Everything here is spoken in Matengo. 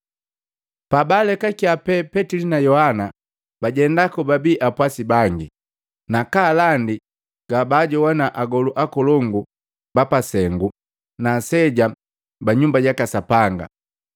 Pabaalekakiya pee Petili na Yohana, bajenda kobabii apwasi bangi, na kaalandi gabaajogwana agoluu akolongu bapasengu na aseja ba Nyumba jaka Sapanga.